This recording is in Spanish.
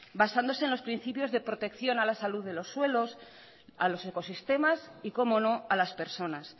basándose en los principios de protección a la salud de los suelos a los ecosistemas y cómo no a las personas